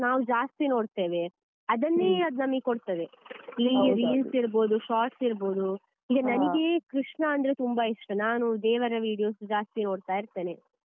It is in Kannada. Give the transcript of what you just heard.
ನಾವು ಜಾಸ್ತಿ ನೋಡ್ತೇವೆ ಅದನ್ನೇ ಅದು ನಮ್ಗೆ ಕೊಡ್ತದೆ ಈ Reels ಇರ್ಬಹುದು Shots ಇರ್ಬಹುದು ಈಗ ನನ್ಗೆ ಕೃಷ್ಣಾ ಅಂದ್ರೆ ತುಂಬಾ ಇಷ್ಟ, ನಾನು ದೇವರ videos ಜಾಸ್ತಿ ನೋಡ್ತಾ ಇರ್ತೇನೆ.